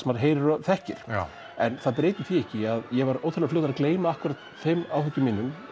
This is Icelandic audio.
maður heyrir og þekkir en það breytir því ekki að ég var ótrúlega fljótur að gleyma þeim áhyggjum mínum